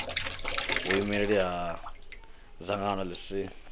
vhuimeli ha dzangano ḽi si